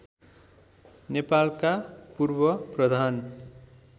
नेपालका पूर्व प्रधान